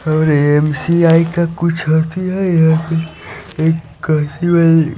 और एम_सी_आई का कुछ है यहां पे एक